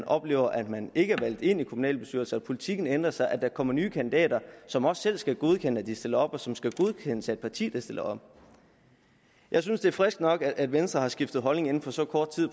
oplever at man ikke er valgt ind i kommunalbestyrelser og at politikken ændrer sig og at der kommer nye kandidater som også selv skal godkende at de stiller op og som skal godkendes af et parti der stiller op jeg synes det er friskt nok at venstre har skiftet holdning inden for så kort tid